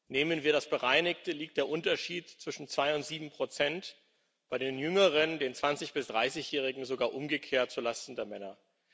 Nehmen wir das bereinigte, so liegt der Unterschied zwischen 2 und 7 bei den Jüngeren, den 20 bis 30 Jährigen, sogar umgekehrt zulasten der Männer.